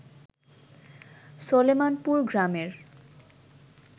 সলেমানপুর গ্রামের